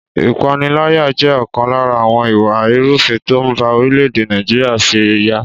Ìpániláyà jẹ́ ọ̀kan lára àwọn ìwà ìrúfin tó ń bá orílẹ̀-èdè Nàìjíríà fí ra